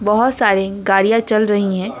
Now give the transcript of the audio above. बहुत सारी गाड़ियां चल रही हैं।